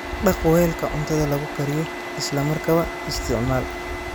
Dhaq weelka cuntada lagu kariyo isla markaaba isticmaal.